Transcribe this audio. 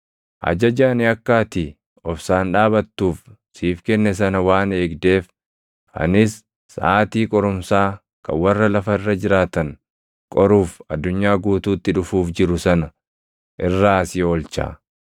Ajaja ani akka ati obsaan dhaabattuuf siif kenne sana waan eegdeef, anis saʼaatii qorumsaa kan warra lafa irra jiraatan qoruuf addunyaa guutuutti dhufuuf jiru sana irraa si oolcha.